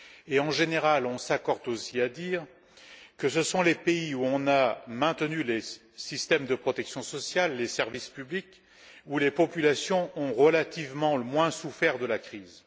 Et, en général, on s'accorde aussi à dire que ce sont les pays où on a maintenu les systèmes de protection sociale et les services publics où les populations ont relativement moins souffert de la crise.